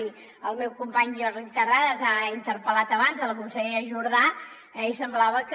i el meu company jordi terrades ha interpel·lat abans la consellera jordà i semblava que